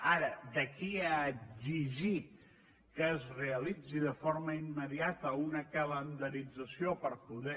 ara d’aquí a exigir que es realitzi de forma immediata una calendarització per poder